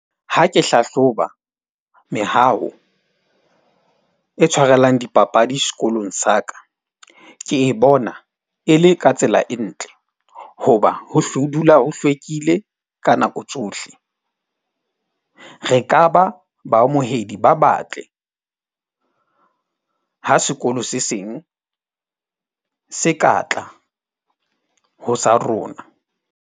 Ha ke hlahloba mehawo e tshwarellang dipapadi sekolong sa ka, ke e bona e le ka tsela e ntle. Hoba hohle ho dula ho hlwekile ka nako tsohle. Re ka ba baamohedi ba batle ha sekolo se seng se ka tla ho sa rona.